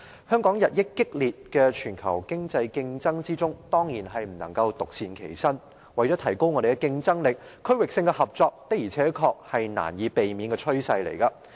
香港在日益激烈的全球經濟競爭中，當然不能夠獨善其身，為了提高我們的競爭力，區域性合作的而且確是難以避免的趨勢。